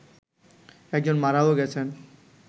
একজন মারাও গেছেন